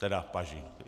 Teda v paži.